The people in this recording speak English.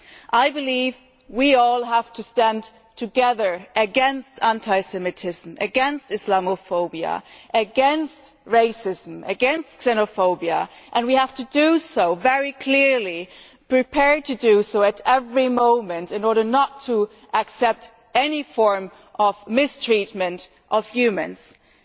I believe we all have to stand together against anti Semitism, against Islamophobia, against racism and against xenophobia, and we have to do so very clearly, and be prepared to do so at every moment, in order not to accept any form of mistreatment of human beings.